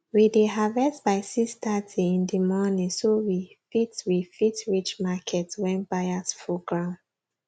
we dey harvest by 630 in di morning so we fit we fit reach market when buyers full ground